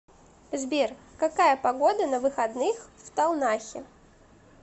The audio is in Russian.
сбер какая погода на выходных в талнахе